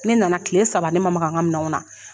Ne nana tile saba ne ma maga ŋa minanw na.